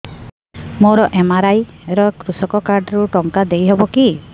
ମୋର ଏମ.ଆର.ଆଇ ରେ କୃଷକ କାର୍ଡ ରୁ ଟଙ୍କା ଦେଇ ହବ କି